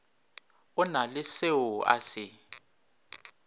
o na le seoa se